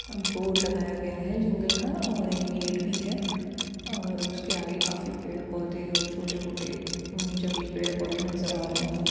एक बोर्ड लगाया है जंगल का और एक गेट भी है और उसके आगे काफी पेड़-पौधे और छोटे मोटे जंगली पेड़ पोधे नज़र आ रहे हैं।